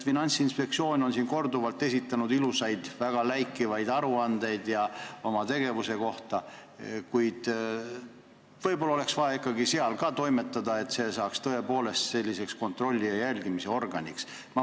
Finantsinspektsioon on korduvalt esitanud ilusaid, väga läikivaid aruandeid oma tegevuse kohta, kuid võib-olla oleks vaja ka seal midagi ette võtta, et see saaks tõepoolest tõhusa kontrolli ja jälgimise organiks.